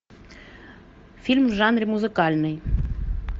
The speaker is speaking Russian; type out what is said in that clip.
фильм в жанре музыкальный